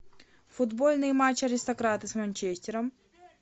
футбольный матч аристократы с манчестером